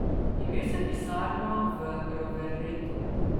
Imel sem pisarno v Roveretu, nenehno sem potoval po severni Italiji.